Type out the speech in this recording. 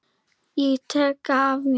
Ég talaði af mér.